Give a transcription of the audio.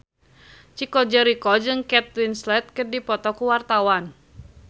Chico Jericho jeung Kate Winslet keur dipoto ku wartawan